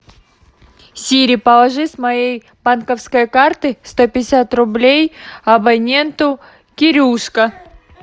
сири положи с моей банковской карты сто пятьдесят рублей абоненту кирюшка